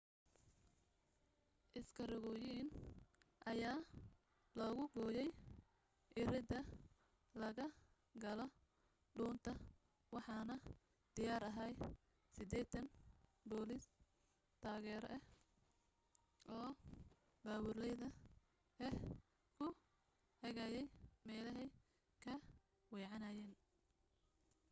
iskarogooyin ayaa lagu gooyay iridda laga galo dhuunta waxaana diyaar ahaa 80 booliis taageero ah oo baabuurleyda ah ku hagayay meelahay ka weecanayaan